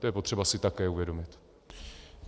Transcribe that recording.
To je potřeba si také uvědomit.